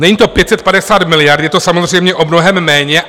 Není to 550 miliard, je to samozřejmě o mnohem méně.